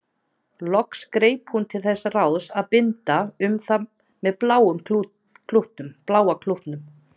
Loks greip hún til þess ráðs að binda um það með bláa klútnum.